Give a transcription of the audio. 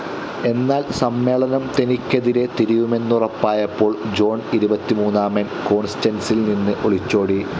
എന്നാൽ സമ്മേളനം തനിക്കെതിരെ തിരിയുമെന്നുറപ്പായപ്പോൾ ജോൺ ഇരുപത്തിമൂന്നാമൻ കോൺസ്ററ്അൻസിൽ നിന്ന് ഒളിച്ചോടി.